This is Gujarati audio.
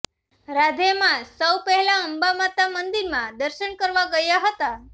રાધે મા સૌ પહેલા અંબામાતા મંદિરમાં દર્શન કરવા ગયા હતા